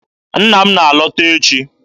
Nna m na-alọta echi.